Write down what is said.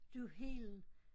Du Helen